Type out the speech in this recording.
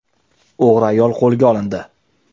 O‘g‘ri ayol qo‘lga olindi.